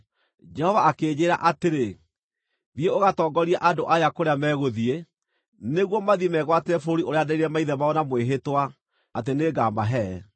Jehova akĩnjĩĩra atĩrĩ, “Thiĩ ũgatongorie andũ aya kũrĩa megũthiĩ, nĩguo mathiĩ megwatĩre bũrũri ũrĩa nderĩire maithe mao na mwĩhĩtwa atĩ nĩngamahe.”